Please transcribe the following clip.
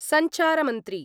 सञ्चारमन्त्री